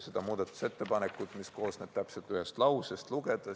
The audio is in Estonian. See muudatusettepanek koosneb täpselt ühest lausest.